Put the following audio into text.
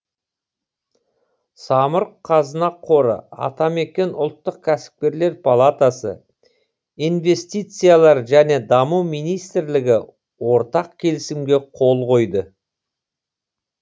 самұрық қазына қоры атамекен ұлттық кәсіпкерлер палатасы инвестициялар және даму министрлігі ортақ келісімге қол қойды